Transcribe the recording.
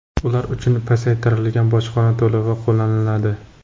Ular uchun pasaytirilgan bojxona to‘lovi qo‘llaniladi.